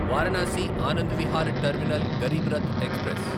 Varanasi Anand Vihar terminal Garib Rath express